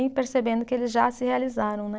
Percebendo que eles já se realizaram, né?